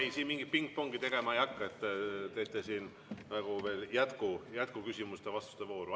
Ei, siin mingit pingpongi tegema ei hakka, et teete siin veel jätkuküsimuste ja ‑vastuste vooru.